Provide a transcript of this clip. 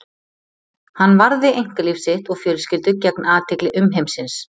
hann varði einkalíf sitt og fjölskyldu gegn athygli umheimsins